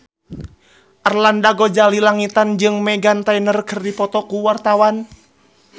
Arlanda Ghazali Langitan jeung Meghan Trainor keur dipoto ku wartawan